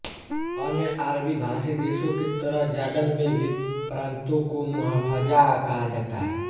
अन्य अरबीभाषी देशों की तरह जॉर्डन में भी प्रान्तों को मुहाफ़ज़ाह कहा जाता है